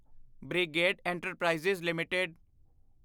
brigade enterprises LTD